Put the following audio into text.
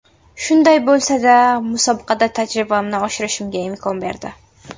Shunday bo‘lsa-da, musobaqa tajribamni oshirishimga imkon berdi.